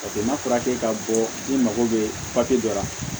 Paseke n'a fɔra k'e ka bɔ i mako bɛ papiye dɔ la